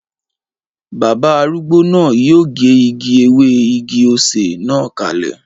Bàbá arúgbó náà yóò gé igi ewé igi-osè na kalẹ